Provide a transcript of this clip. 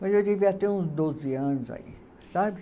Mas eu devia ter uns doze anos aí, sabe?